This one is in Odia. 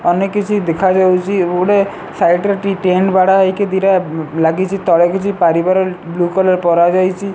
ଅନ୍ୟ କିଛି ଦେଖାଯାଉଚି ଏବଂ ଗୋଟେ ସାଇଡ୍ ରେ ଟି ଟେଣ୍ଟ ବାଡାଯାଇକି ଦିଟା ଲାଗିଚି ତଳେ କିଛି ପାରିବାର ବ୍ଲୁ କଲର ପରା ଯାଇଚି।